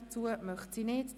– Sie möchte dies nicht.